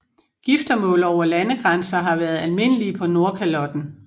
Giftermål over landegrænser har vært almindelige på Nordkalotten